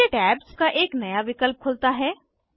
नीचे टैब्स का एक नया विकल्प खुलता है